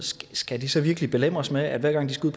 skal de så virkelig belemres med at hver gang de skal